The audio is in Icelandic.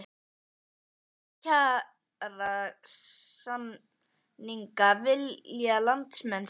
Og hvernig kjarasamninga vilja landsmenn sjá?